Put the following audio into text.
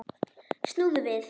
Snúðu við.